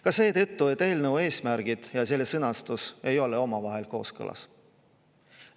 Ka seetõttu, et eelnõu eesmärgid ja sõnastus ei ole omavahel kooskõlas.